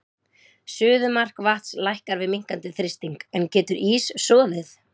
Suðumark vatns lækkar við minnkandi þrýsting, en getur ís soðið?